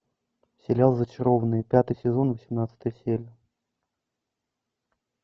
сериал зачарованные пятый сезон восемнадцатая серия